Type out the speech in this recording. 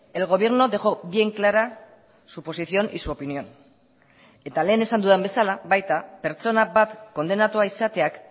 el gobierno dejó bien clara su posición y su opinión eta lehen esan dudan bezala baita pertsona bat kondenatua izateak